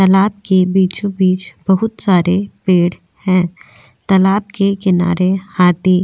तालाब के बीचो-बीच बहुत सारे पेड़ हैं तालाब के किनारे हाथी --